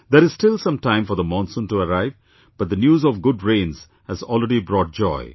There is still some time for the monsoon to arrive, but the news of good rains has already brought joy